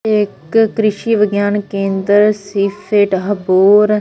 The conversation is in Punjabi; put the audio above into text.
ਇੱਕ ਕ੍ਰਿਸ਼ੀ ਵਿਗਿਆਨ ਕੇਂਦਰ ਸੀ ਫੇਟ ਹਬੋਰ--